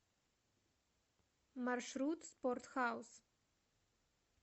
маршрут спорт хаус